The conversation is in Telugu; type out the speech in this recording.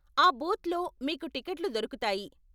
ఆ బూత్లో మీకు టికెట్లు దొరుకుతాయి.